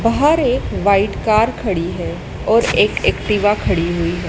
बाहर एक white car खड़ी है और एक एक्टिवा खड़ी हुई है।